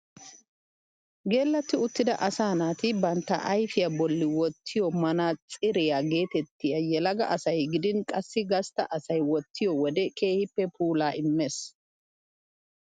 Geellatti uttida asaa naati bantta ayfiyaa bolli wottiyoo manaatsiriyaa getettiyaage yelaga asay gidin qassi gastta asay wottiyoo wode keehippe puulaa immees.